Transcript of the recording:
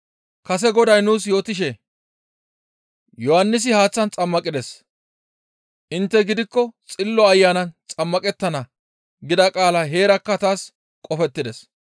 Kase Goday nuus yootishe, ‹Yohannisi haaththan xammaqides; intte gidikko Xillo Ayanan xammaqettana› gida qaalay heerakka taas qofettides.